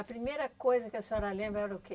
A primeira coisa que a senhora lembra era o que?